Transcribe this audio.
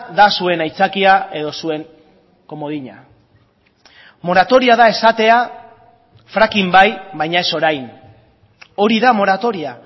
da zuen aitzakia edo zuen komodina moratoria da esatea fracking bai baina ez orain hori da moratoria